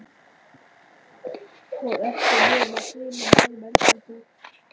Og ekki nema þremur árum eldri en hún.